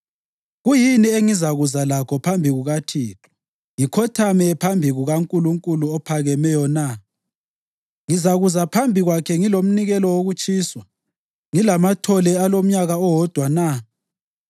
Kuyini engizakuza lakho phambi kukaThixo ngikhothame phambi kukaNkulunkulu ophakemeyo na? Ngizakuza phambi kwakhe ngilomnikelo wokutshiswa, ngilamathole alomnyaka owodwa na?